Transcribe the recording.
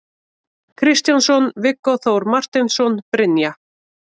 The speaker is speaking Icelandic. Kristjánsson, Viggó Þór Marteinsson, Brynja